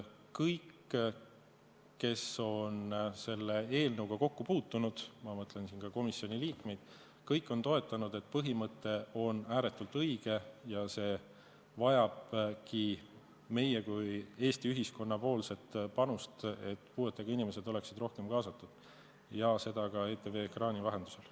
Kõik, kes on selle eelnõuga kokku puutunud – ma mõtlen siin ka komisjoni liikmeid –, on leidnud, et põhimõte on ääretult õige ja see vajabki nii meie kui ka Eesti ühiskonna panust, et puuetega inimesed oleksid rohkem kaasatud ja seda ka ETV ekraani vahendusel.